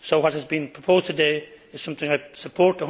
So, what has been proposed today is something I support